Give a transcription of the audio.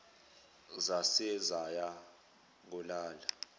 zaze zaya kolala